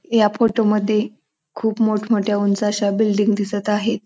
या फोटोमध्ये खूप मोठमोठ्या उंच अशा बिल्डिंग दिसत आहे.